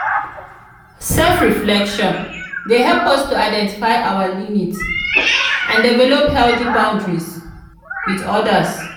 self-reflection dey help us to identify our limits and develop healthy boundaries with odas.